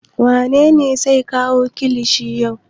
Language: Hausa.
Wane ne zai kawo kilishin yau?